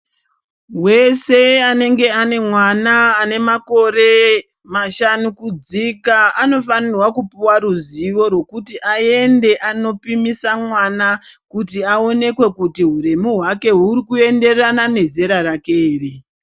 Wese anenge ane mwana ane makore mashanu kudzika, anofanirwa kupuwa ruzivo rwekuti anende anopimisa mwana kuti aonekwe kuti huremu hwake huri kuenderana nezera rake here.